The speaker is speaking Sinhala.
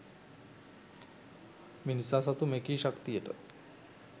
මිනිසා සතු මෙකී ශක්තියට